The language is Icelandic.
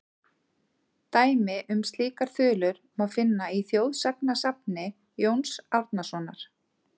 Dæmi um slíkar þulur má finna í þjóðsagnasafni Jóns Árnasonar:.